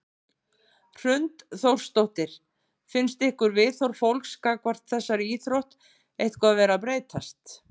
Hrund Þórsdóttir: Finnst ykkur viðhorf fólks gagnvart þessari íþrótt eitthvað vera að breytast?